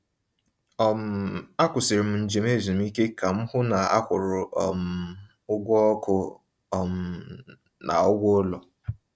um Akwụsịrị m njem ezumike ka m hụ na a kwụrụ um ụgwọ ọkụ um na ụgwọ ụlọ.